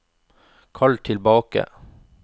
kall tilbake